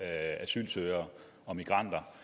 asylsøgere og migranter